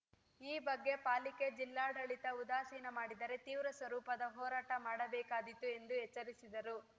ಈ ಬಗ್ಗೆ ಪಾಲಿಕೆ ಜಿಲ್ಲಾಡಳಿತ ಉದಾಸೀನ ಮಾಡಿದರೆ ತೀವ್ರ ಸ್ವರೂಪದ ಹೋರಾಟ ಮಾಡಬೇಕಾದೀತು ಎಂದು ಎಚ್ಚರಿಸಿದರು